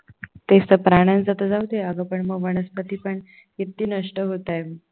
तेच तर प्राण्याचं तर जाऊ दे अग पण वनस्पती पण किती नष्ट होताय.